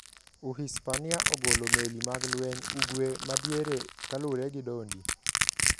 Uhispania ogolo meli mag lweny ugwe madiere kalure gi dondi .